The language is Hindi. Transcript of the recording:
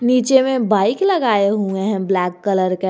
नीचे में बाइक लगाए हुए हैं ब्लैक कलर का।